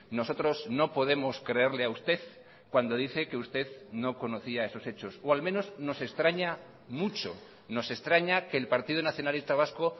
nosotros no podemos creerle a usted cuando dice que usted no conocía esos hechos o al menos nos extraña mucho nos extraña que el partido nacionalista vasco